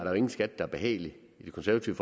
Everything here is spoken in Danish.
jo ingen skat der er behagelig i det konservative